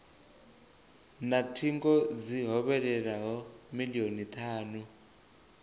na thingo dzi hovhelelaho milioni thanu